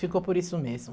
Ficou por isso mesmo.